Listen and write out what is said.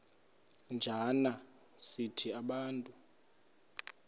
njana sithi bantu